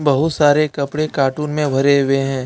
बहुत सारे कपड़े कार्टून में भरे हुए हैं।